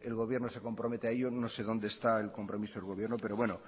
el gobierno se compromete a ello no sé donde está el compromiso del gobierno pero bueno